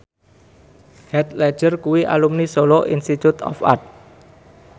Heath Ledger kuwi alumni Solo Institute of Art